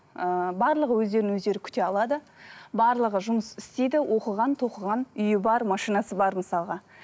ыыы барлығы өздерін өздері күте алады барлығы жұмыс істейді оқыған тоқыған үйі бар машинасы бар мысалға